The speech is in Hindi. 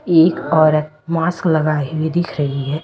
एक औरत मास्क लगाई हुई दिख रही है।